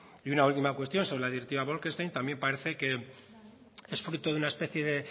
y una última cuestión sobre la directiva bolkestein también parece que es fruto de una especie